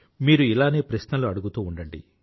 మీరు ఇలానే ప్రశ్నలు అడుగుతూ ఉండండి